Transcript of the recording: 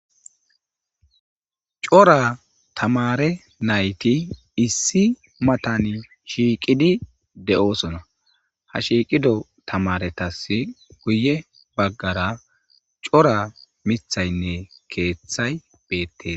cora tamare nayti issi matani shiiqidi de7oosona ha shiiqido tamaretas guye baggara cora mithaynne keeththay beettees